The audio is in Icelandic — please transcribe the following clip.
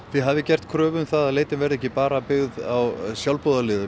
þið hafið gert kröfu um að leitin verði ekki bara byggð á sjálfboðaliðum